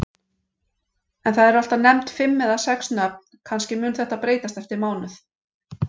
En það eru alltaf nefnd fimm eða sex nöfn, kannski mun þetta breytast eftir mánuð.